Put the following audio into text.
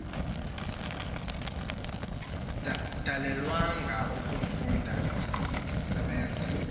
dalelwanga ukufunda ndisebenza